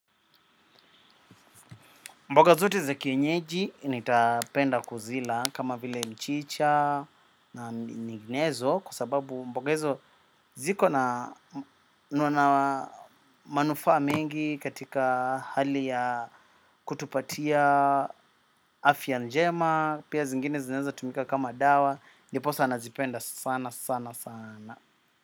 Mboga zote za kienyeji nitapenda kuzila kama vile mchicha na ninginezo kusababu mboga hizo ziko na manufa mingi katika hali ya kutupatia afya njema, pia zingine zineza tumika kama dawa, niposa nazipenda sana sana sana.